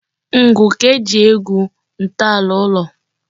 Ngwu ka e ji egwu ntọala ụlọ.